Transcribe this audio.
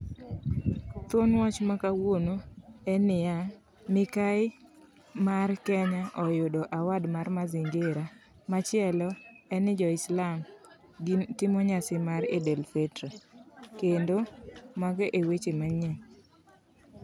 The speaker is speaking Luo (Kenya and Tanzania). Thwon wach makawuono en niya mikai mar Kenya oyudo award mar mazingira. Machielo, enni joislam gi timo nyasi mar eldelfitra. Kendo mago eweche manyien.